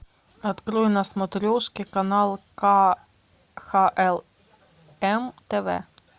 открой на смотрешке канал кхлм тв